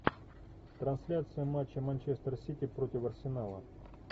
трансляция матча манчестер сити против арсенала